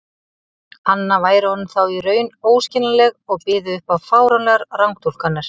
anna væri honum þá í raun óskiljanleg og byði upp á fáránlegar rangtúlkanir.